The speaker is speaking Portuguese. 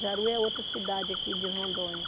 Jaru é outra cidade aqui de Rondônia.